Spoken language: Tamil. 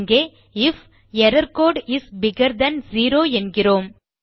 இங்கே if error code is bigger than zero என்கிறோம்